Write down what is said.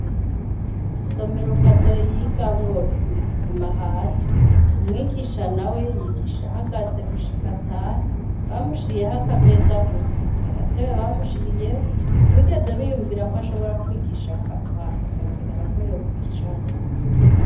Isomero kadoo yiga mworo isizisima hasi umwigisha na we yiyigisha ahagaze gushika atahe bamushiriyeho akameza gusa nta gatebe bamushiriyeho bigeza biyumvira ko ashobora kwigisha akaruha igakenera ko yokwicara.